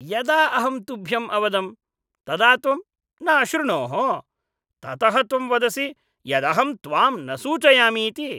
यदा अहं तुभ्यम् अवदं तदा त्वं न अशृणोः, ततः त्वं वदसि यदहं त्वां न सूचयामि इति।